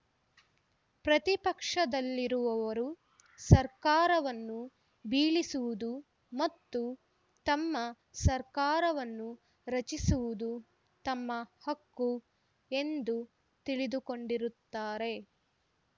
ಪ್ರತಿಪಕ್ಷದಲ್ಲಿರುವವರು ಸರ್ಕಾರವನ್ನು ಬೀಳಿಸುವುದು ಮತ್ತು ತಮ್ಮ ಸರ್ಕಾರವನ್ನು ರಚಿಸುವುದು ತಮ್ಮ ಹಕ್ಕು ಎಂದು ತಿಳಿದುಕೊಂಡಿರುತ್ತಾರೆ